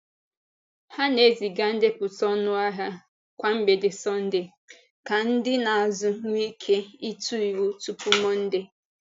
Ha na-eziga ndepụta ọnụahịa kwa mgbede Sọnde ka ndị na-azụ nwee ike ịtụ iwu tupu Mọnde.